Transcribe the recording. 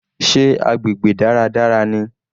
Sé agbègbè dáradára ni?